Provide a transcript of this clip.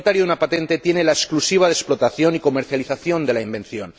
El propietario de una patente tiene la exclusiva de explotación y comercialización de la invención.